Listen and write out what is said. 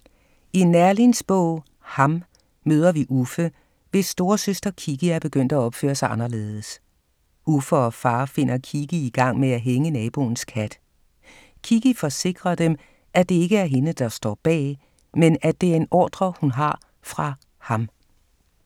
I Neerlins bog Ham møder vi Uffe, hvis storesøster Kikki er begyndt at opføre sig anderledes. Uffe og far finder Kikki i gang med at hænge naboens kat. Kikki forsikrer dem, at det ikke er hende, der står bag, men at det er en ordre, hun har fra Ham.